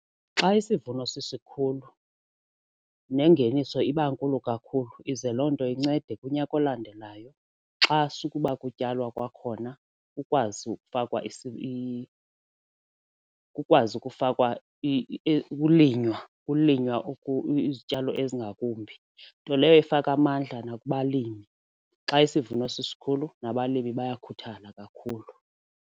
Xa isivuno sisikhulu nengeniso iba nkulu kakhulu ize loo nto incede kunyaka olandelayo xa sukuba kutyalwa kwakhona ukwazi ukufakwa kukwazi ukufakwa ukulinywa ukulinywa ukuze izityalo ezingakumbi. Nto leyo ifaka amandla nakubalimi, xa isivuno sisikhulu nabalimi bayakhuthala kakhulu.